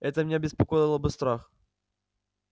это меня беспокоило бы страх